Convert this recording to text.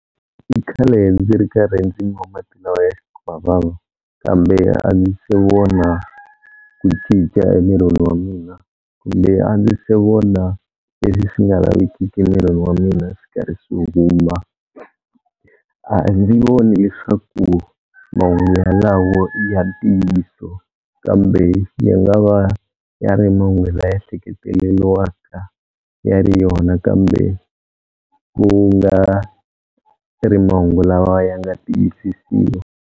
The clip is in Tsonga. I khale ndzi ri karhi ndzi nwa mati lawa ya xikwavava kambe a ndzi se vona ku cinca emirini wa mina kumbe a ndzi se vona leswi swi nga lavekiki emirini wa mina swi karhi swi huma. A ndzi voni leswaku mahungu yalawo i ya ntiyiso, kambe ya nga va ya ri man'we laya hleketeleliwaka ya ri yona kambe ku nga ri mahungu lawa ya nga tiyisisiwa.